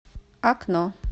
окно